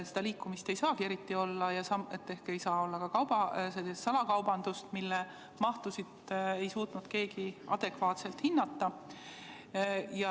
Seda liikumist ei saagi eriti olla ja ehk ei saa olla ka sellist salakaubandust, mille mahtusid ei suuda keegi adekvaatselt hinnata.